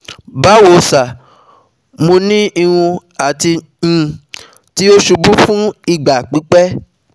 Bawo sir, Mo ni irun ti um o ti ṣubu fun igba pipẹ